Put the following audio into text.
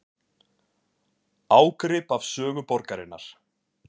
Ágrip af sögu borgarinnar